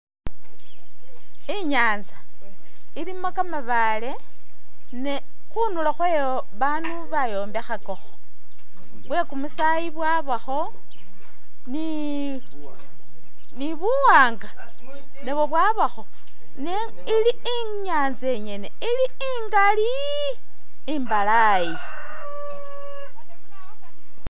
I'nyanza ilimo kamabaale ne khundulo khwayo babaandu bayombekhakakho bwekumusaayi bwabakho ni buwaanga nabwo bwabakho ne ili i'nyanza nyene ili i'ngali imbalayi